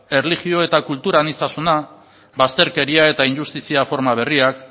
erlijio eta kultur aniztasuna bazterkeria eta injustizia forma berriak